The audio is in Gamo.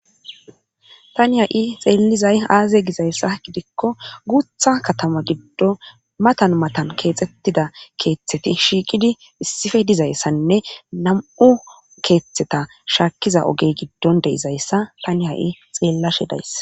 Tani ha7i xeellizay aaze gizayssa gidikko guutha katama giddo matan matan keexxettida keeththeti shiiqidi issife dizayssanne nam7u keeththeta shaakkiza ogey giddon de7izayssa tani ha7i xeellashe days.